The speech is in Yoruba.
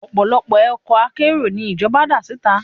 Ọ̀pọ̀lọpọ̀ ọkọ̀ akérò ni ìjọba dá síta